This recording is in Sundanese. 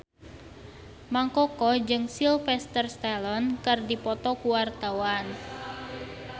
Mang Koko jeung Sylvester Stallone keur dipoto ku wartawan